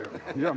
Ei ole ju?